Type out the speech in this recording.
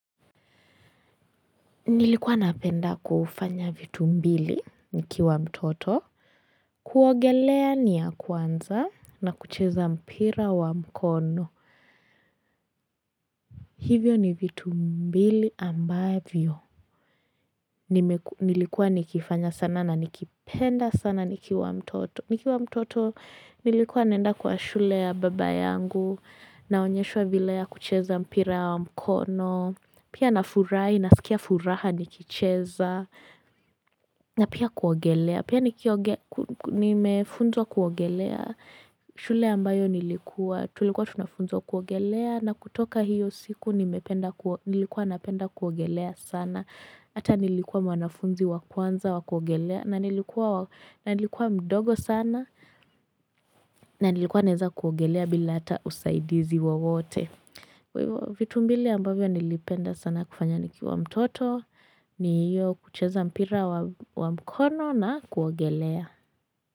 Nilikuwa napenda kufanya vitu mbili nikiwa mtoto, kuogelea ni ya kwanza na kucheza mpira wa mkono. Hivyo ni vitu mbili ambavyo nilikuwa nikifanya sana na nikipenda sana nikiwa mtoto. Nikiwa mtoto nilikuwa nenda kwa shule ya baba yangu naonyeshwa vile ya kucheza mpira wa mkono. Pia nafurahi nasikia furaha nikicheza. Na pia kuogelea pia nimefunzwa kuogelea, shule ambayo nilikuwa tulikuwa tunafunzwa kuogelea na kutoka hiyo siku nimependa nilikuwa napenda kuogelea sana ata nilikuwa mwanafunzi wa kwanza wa kuogelea na nilikuwa mdogo sana na nilikuwa naweza kuogelea bila ata usaidizi wowote vitu mbili ambayo nilipenda sana kufanya nikiwa mtoto ni hiyo kucheza mpira wa mkono na kuogelea.